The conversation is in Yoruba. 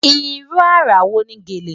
Ìrú ara wo ni gẹ́lẹ̀?